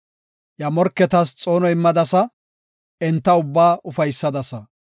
Iya morketas xoono immadasa, enta ubbaa ufaysadasa.